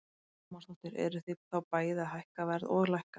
Lára Ómarsdóttir: Eruð þið þá bæði að hækka verð og lækka?